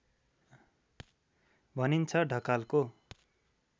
भनिन्छ ढकालको